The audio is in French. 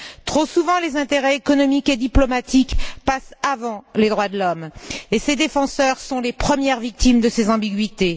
Trop souvent, les intérêts économiques et diplomatiques passent avant les droits de l'homme, et ses défenseurs sont les premières victimes de ces ambiguïtés.